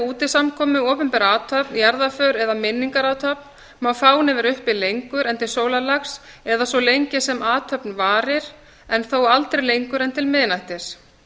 er við útisamkomu opinbera athöfn jarðarför eða minningarathöfn má fáni vera uppi lengur en til sólarlags eða svo lengi sem athöfn varir en þó aldrei lengur en til miðnættis